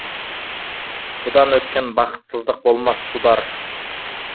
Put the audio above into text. бұдан өткен бақытсыздық болмас судар